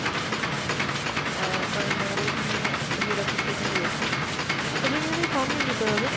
অ্যাঁ কারণ আমাদের এখানে head office টা এখানেই রয়েছে, তবে এখান থেকে form নিয়ে যেতে হবে।